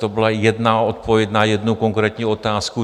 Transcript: To byla jedna odpověď na jednu konkrétní otázku.